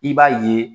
I b'a ye